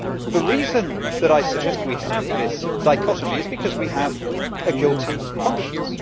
The reason that I suggest we have this dichotomy is because we have a guilty conscience.